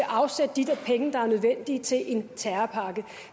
afsat de penge der er nødvendige til en terrorpakke